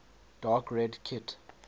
dark red kit